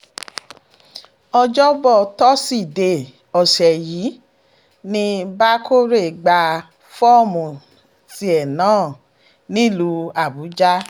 ọjọ́bọ̀ tọ́sídẹ̀ẹ́ ọ̀sẹ̀ yìí ni bákórè gba fọ́ọ̀mù tiẹ̀ náà náà nílùú àbújá